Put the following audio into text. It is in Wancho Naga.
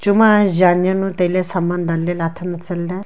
chuma Jan ya nu tai ley saman dan ley ley athan athan ley.